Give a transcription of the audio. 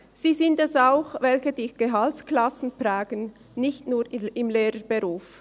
Sie sind es auch, welche die Gehaltsklassen tragen, nicht nur im Lehrberuf.